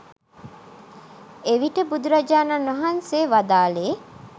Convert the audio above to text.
එවිට බුදුරජාණන් වහන්සේ වදාළේ